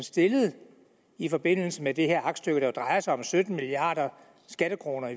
stillet i forbindelse med det her aktstykke der drejer sig om sytten milliarder skattekroner